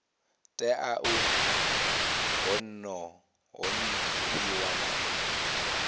tea u ṱhonifhiwa na u